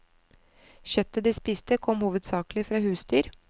Kjøttet de spiste kom hovedsakelig fra husdyr.